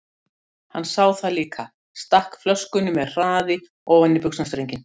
Hann sá það líka, stakk flöskunni með hraði ofan í buxnastrenginn.